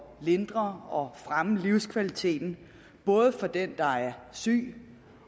lindre og fremme livskvaliteten både for den der er syg